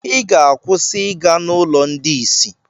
Ị ga-akwụsị ịga n'ụlọ ndị isi.